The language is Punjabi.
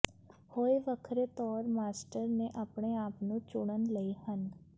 ਹੁਏ ਵੱਖਰੇ ਤੌਰ ਮਾਸਟਰ ਨੇ ਆਪਣੇ ਆਪ ਨੂੰ ਚੁਣਨ ਲਈ ਹਨ